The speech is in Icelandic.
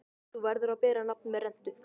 Þú verður að bera nafn með rentu.